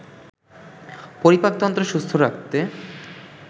পরিপাকতন্ত্র সুস্থ রাখতে